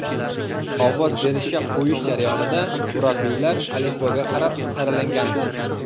Ovoz berishga qo‘yish jarayonida murabbiylar alifboga qarab saralangandi.